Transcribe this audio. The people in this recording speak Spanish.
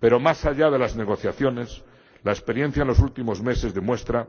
Pero más allá de las negociaciones, la experiencia en los últimos meses demuestra